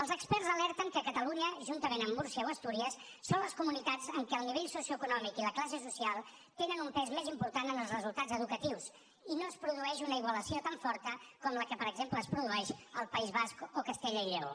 els experts alerten que catalunya juntament amb múrcia o astúries són les comunitats en què el nivell socioeconòmic i la classe social tenen un pes més important en els resultats educatius i no es produeix una igualació tan forta com la que per exemple es produeix al país basc o a castella i lleó